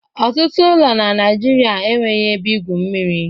Ọtụtụ ụlọ na Naijiria enweghị ebe igwu mmiri.